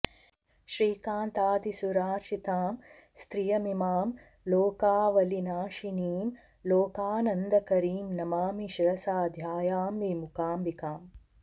श्रीकान्तादिसुरार्चितां स्त्रियमिमां लोकावलीनाशिनीं लोकानन्दकरीं नमामि शिरसा ध्यायामि मूकाम्बिकाम्